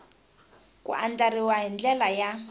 ku andlariwa hi ndlela ya